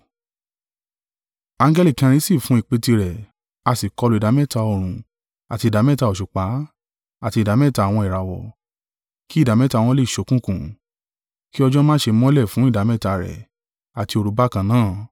Angẹli kẹrin sì fún ìpè tirẹ̀, a sì kọlu ìdámẹ́ta oòrùn, àti ìdámẹ́ta òṣùpá, àti ìdámẹ́ta àwọn ìràwọ̀, ki ìdámẹ́ta wọn lè ṣókùnkùn, kí ọjọ́ má ṣe mọ́lẹ̀ fún ìdámẹ́ta rẹ̀, àti òru bákan náà.